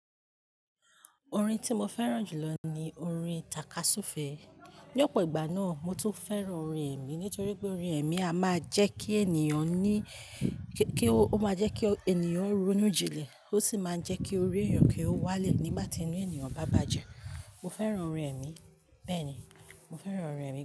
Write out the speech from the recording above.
Orin tí mo fẹ́ràn jù lọ ni orin tàkasúfẹ̀ẹ́. Ní ọ̀pọ̀ ìgbà náà, mo tún fẹ́ràn orin ẹ̀mí torí pé orin ẹ̀mí a máa jẹ́ kí ènìyàn ní, kí ó máa jẹ́ kí ènìyàn ronú jinlẹ̀ ó sì máa jẹ́ kí orí ènìyàn kí ó wálẹ̀ nígbà tí inú ènìyàn bá bàjẹ́. Mo fẹ́ràn orin ẹ̀mí, bẹ́ẹ̀ni, mo fẹ́ràn orin ẹ̀mí gan.